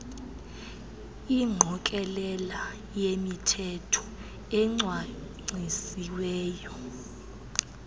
ingqokelela yemithetho ecwangcisiweyo